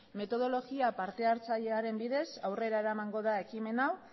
metodologia partehartzailearen bidez aurrera eramango da ekimen hau